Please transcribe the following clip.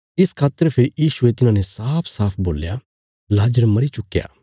इस खातर फेरी यीशुये तिन्हांने साफसाफ बोल्या लाजर मरी चुक्कया